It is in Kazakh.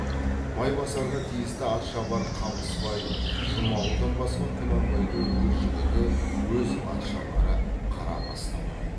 майбасарға тиісті атшабар қамысбай жұмағұлдан басқа құнанбайдың өз жігіті өз атшабары қарабас та бар